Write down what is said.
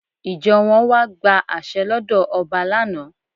Ìjọ wọn wá gba àṣẹ lọ́dọ̀ ọba lánà.